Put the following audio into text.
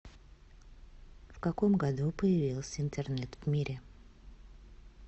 в каком году появился интернет в мире